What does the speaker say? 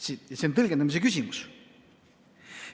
See on tõlgendamise küsimus.